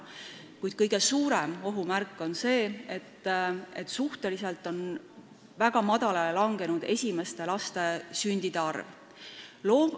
Kuid kõige suurem ohumärk on see, et suhteliselt väga madalale on langenud esimeste laste sündide arv.